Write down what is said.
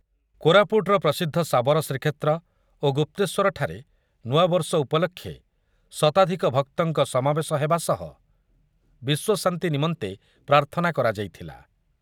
କୋରାପୁଟର ପ୍ରସିଦ୍ଧ ଶାବର ଶ୍ରୀକ୍ଷେତ୍ର ଓ ଗୁପ୍ତେଶ୍ୱରଠାରେ ନୂଆବର୍ଷ ଉପଲକ୍ଷେ ଶତାଧିକ ଭକ୍ତଙ୍କ ସମାବେଶହେବା ସହ ବିଶ୍ୱଶାନ୍ତି ନିମନ୍ତେ ପ୍ରାର୍ଥନା କରାଯାଇଥିଲା ।